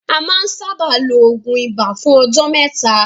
A má ń sábáà ló oògùn ibà fún ọjọ́ mẹ́ta.